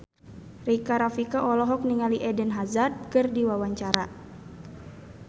Rika Rafika olohok ningali Eden Hazard keur diwawancara